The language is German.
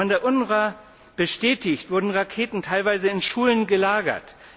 Von der UNRWA bestätigt, wurden Raketen teilweise in Schulen gelagert.